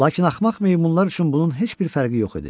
Lakin axmaq meymunlar üçün bunun heç bir fərqi yox idi.